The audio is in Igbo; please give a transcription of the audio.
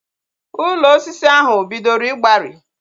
Ụlọ osisi ahu bidoro igbari